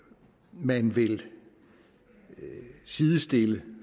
man vil sidestille